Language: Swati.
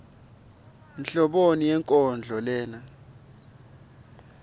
nhloboni yenkondlo lena